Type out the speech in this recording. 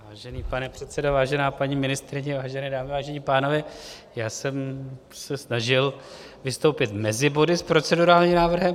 Vážený pane předsedo, vážená paní ministryně, vážené dámy, vážení pánové, já jsem se snažil vystoupit mezi body s procedurálním návrhem.